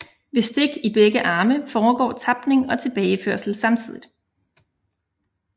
Ved stik i begge arme foregår tapning og tilbageførsel samtidigt